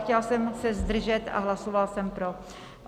Chtěla jsem se zdržet, ale hlasovala jsem pro.